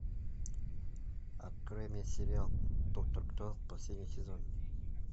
открой мне сериал доктор кто последний сезон